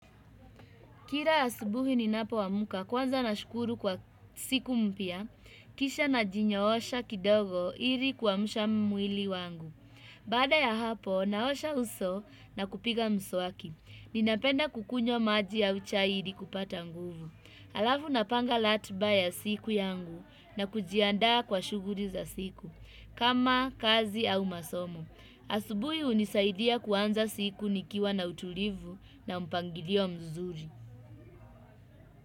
Kira asubuhi ni napo wamuka kwanza na shukuru kwa siku mpya, kisha na jinyo osha kidogo ili kwa mshamuili wangu. Baada ya hapo na osha uso na kupiga mswaki. Ni napenda kukunyo maji ya uchayidi kupata nguvu. Alafu napanga latna ya siku yangu na kujianda kwa shuguri za siku. Kama kazi au masomo. Asubuhi unisaidia kwanza siku nikiwa na utulivu na mpangilio mzuri.